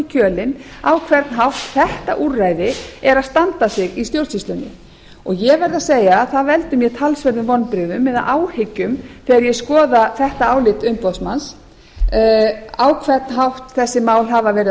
kjölinn á hvern hátt þetta úrræði er að standa sig í stjórnsýslunni og ég verð að segja að það veldur mér talsverðum vonbrigðum eða áhyggjum þegar ég skoða þetta álit umboðsmanns á hvern þessi mál hafa verið að